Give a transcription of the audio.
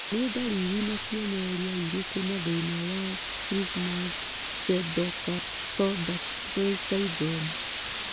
Nĩ ndariri na cionereria irĩkũ cia thĩna wa Trismus pseudocamptodactyly syndrome?